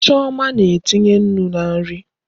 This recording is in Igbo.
Chioma na-etinye Nnu na nri